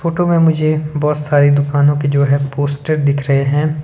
Photo में मुझे बहुत सारी दुकानों के जो है पोस्टर दिख रहे हैं।